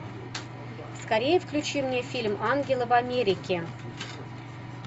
скорее включи мне фильм ангелы в америке